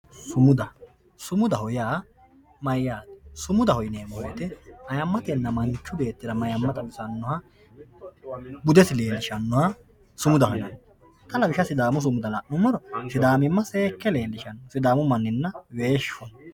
Sumuda, sumudaho yineemmo woyte ayimmatenna manchu beettira mayimma xawisanoha budesi leelishanoha sumudaho xa lawishshaho sidaamu sumuda la'nuummoro sidaamimma seekke leelishano sidaamu manninna weeshu.